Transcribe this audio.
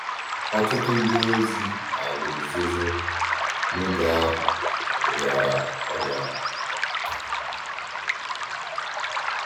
Ọ̀tụ̀tụ̀ ndí òzì àlà òzò òzò n’ògé ahụ rịàrà ọrìà àhụ̀.